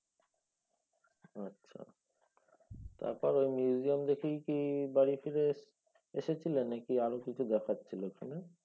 আচ্ছা তারপর ঐ museum দেখেই কি বাড়ি ফিরে এসএসেছিলে নাকি আরও কিছু দেখার ছিল ওখানে?